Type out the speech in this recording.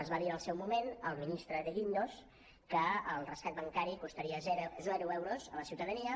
es va dir en el seu moment el ministre de guindos que el rescat bancari costaria zero euros a la ciutadania